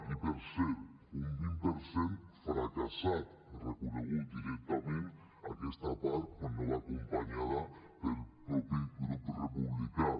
i per cert un vint per cent fracassat ha reconegut directament a aquesta part quan no va acompanyada pel mateix grup republicà